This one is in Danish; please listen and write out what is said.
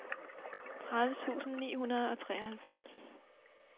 tredive tusind ni hundrede og treoghalvfems